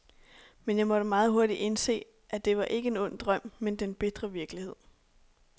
Men jeg måtte meget hurtigt indse, at det ikke var en ond drøm, men den bitre virkelighed.